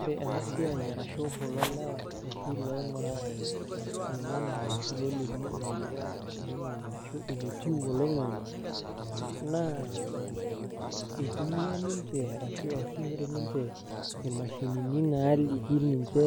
Ore ena siai arashu kulo lewa oshi loing'uraa oloing'ang'e ashu loolimu eneyia oloing'ang'e arashu enetiu oloing'ang'e naa itumia ninche ashu easishore ninche imashinini naaliki ninche